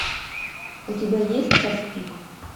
у тебя есть час пик